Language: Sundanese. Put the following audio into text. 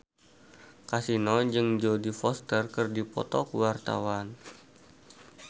Kasino jeung Jodie Foster keur dipoto ku wartawan